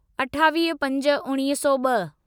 अठावीह पंज उणिवीह सौ ॿ